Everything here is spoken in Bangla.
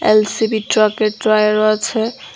ইল_সি_ভি ট্রাকের টায়ারও আছে।